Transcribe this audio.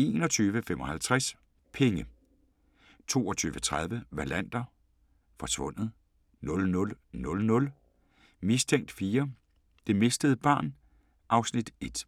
21:55: Penge 22:30: Wallander: Forsvundet 00:00: Mistænkt 4: Det mistede barn (Afs. 1)